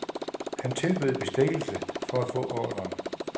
Han tilbød bestikkelse for at få ordren.